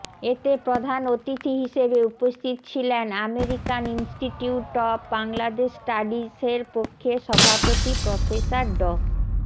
এতে প্রধান অতিথি হিসেবে উপস্থিত ছিলেন আমেরিকান ইনস্টিটিউট অব বাংলাদেশ স্টাডিসের পক্ষে সভাপতি প্রফেসর ড